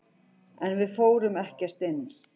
En við fórum ekkert inn.